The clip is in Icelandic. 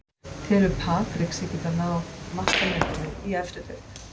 Telur Patrick sig geta náð markametinu í efstu deild?